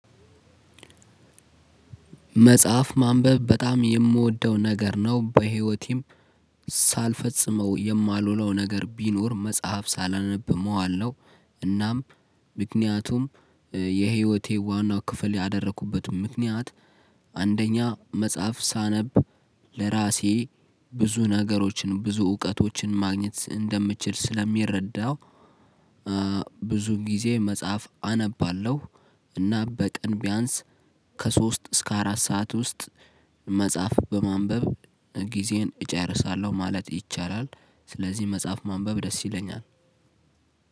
መጽሐፍ ማንበብ በጣም የምወደው ነገር ነው በህይወቴም ሳልፈጽመው የማልውለው ነገር ቢኖር መጽሐፍ ሳላነብ መዋል ነው። እናም ምክንያቱም የህይወቴ ዋናው ክፍል ያደረኩበትም ምክንያት። አንደኛ መጽሐፍ ሳነብ ለራሴ ብዙ ነገሮችን ብዙ እውቀቶችን ማግኘት ስ እንደምትችል ስለሚረዳው። ብዙ ጊዜ መጽሐፍ አነባለሁ። እና በቀን ቢያንስ ከሶስት እስከ አራት ሰዓት ውስጥ መጽሐፍ በማንበብ ጊዜን እጨርሳለሁ ማለት ይቻላል። ስለዚህ መጽሐፍ ማንበብ ደስ ይለኛል